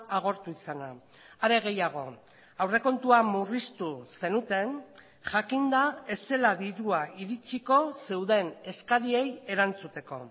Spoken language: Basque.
agortu izana are gehiago aurrekontua murriztu zenuten jakinda ez zela dirua iritsiko zeuden eskariei erantzuteko